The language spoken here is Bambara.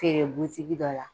Feere butigi dɔ la